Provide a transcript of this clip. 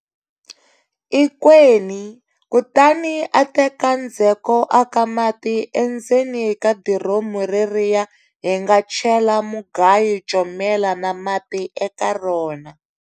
Ikweni, kutani a teka ndzheko a ka mati endzeni ka diromu reriya hi nga chela mugayo, comela na mati eka rona.